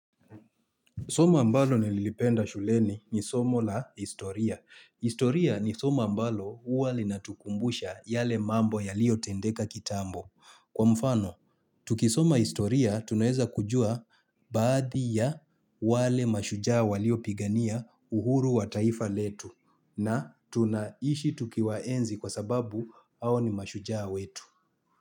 Soma ambalo nililipenda shuleni ni somo la istoria. Historia ni soma ambalo huwa linatukumbusha yale mambo yalio tendeka kitambo. Kwa mfano, tukisoma historia tunaeza kujua baadhi ya wale mashujaa waliopigania uhuru wa taifa letu na tunaishi tukiwaenzi kwa sababu hao ni mashujaa wetu.